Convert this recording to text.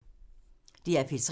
DR P3